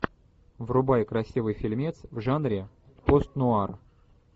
врубай красивый фильмец в жанре пост нуар